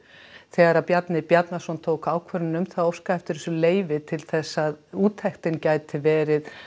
þegar Bjarni Bjarnason tók þá ákvörðun að óska eftir þessu leyfi til þess að úttektin gæti verið